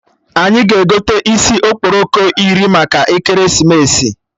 Anyị ga-egote isi okporoko iri maka ekeresimesi